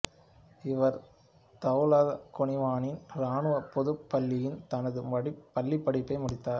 இவர் தௌலா குவானின் இராணுவப் பொதுப் பள்ளியில் தனது பள்ளிப்படிப்பை முடித்தார்